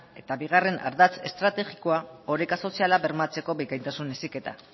eta bigarren ardatz estrategikoa oreka soziala bermatzeko bikaintasun heziketa